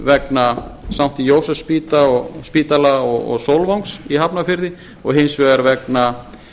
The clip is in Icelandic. vegna sankti jósefsspítala og sólvangs í hafnarfirði og hins vegar vegna